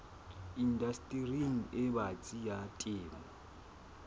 indastering e batsi ya temo